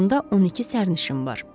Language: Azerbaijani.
Vaqonda 12 sərnişin var.